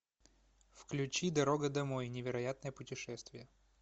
включи дорога домой невероятное путешествие